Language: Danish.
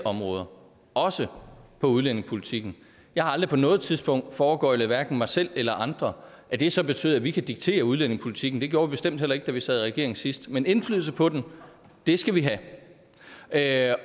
områder også på udlændingepolitikken jeg har aldrig på noget tidspunkt foregøglet mig selv eller andre at det så betyder at vi kan diktere udlændingepolitikken det gjorde vi bestemt heller ikke da vi sad i regering sidst men indflydelse på den skal vi have